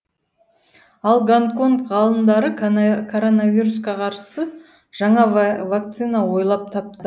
ал гонконг ғалымдары коронавирусқа қарсы жаңа вакцина ойлап тапты